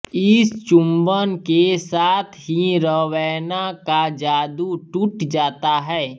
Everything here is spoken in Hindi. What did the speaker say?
इस चुंबन के साथ ही रवैना का जादू टूट जाता है